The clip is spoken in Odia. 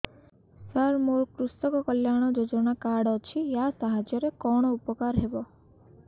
ସାର ମୋର କୃଷକ କଲ୍ୟାଣ ଯୋଜନା କାର୍ଡ ଅଛି ୟା ସାହାଯ୍ୟ ରେ କଣ ଉପକାର ହେବ